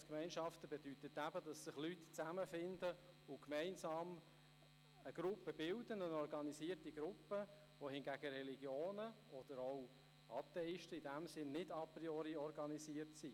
«Religionsgemeinschaften» bedeutet, dass sich Leute zusammenfinden und gemeinsam eine Gruppe bilden, eine organisierte Gruppe, wohingegen Religionen oder auch Atheisten nicht a priori organisiert sind.